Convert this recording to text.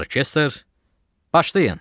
Orkestr, başlayın!